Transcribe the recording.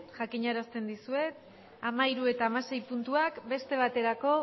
jakiña erasten dizuet hamahiru eta hamasei puntuak beste baterako